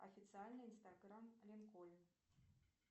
официальный инстаграм линкольн